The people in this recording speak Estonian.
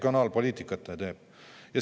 Mis regionaalpoliitikat ta teeb!?